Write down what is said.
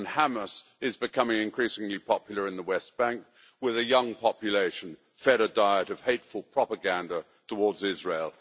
Hamas is becoming increasingly popular in the West Bank with a young population fed a diet of hateful propaganda towards Israel.